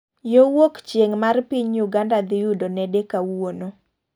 Yo wuok chieng' mar piny uganda dhi yudo nede kawuono.